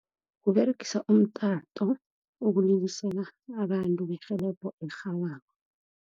Kuberegisa umtato ukulilisela abantu berhelebho elirhabako.